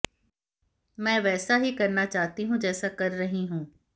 मैं वैसा ही करना चाहती हूं जैसा कर रही हूं